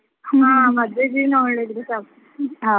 ಹಾ ಮದುವೆ ದಿನ ಒಳ್ಳೆ ಇದ್ರೆ ಸಾಕು.